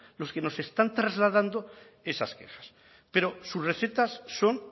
los que nos están trasladando esas quejas pero sus recetas son